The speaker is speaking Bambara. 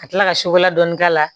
Ka tila ka sukaro dɔɔni k'a la